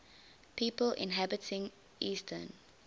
people inhabiting eastern